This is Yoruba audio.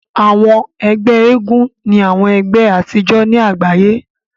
Àwọn ẹgbẹ́ eégún ni àwọn ẹgbé àtijọ́ ni àgbáyé.